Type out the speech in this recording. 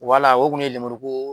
Wala o kun ye lemuruko.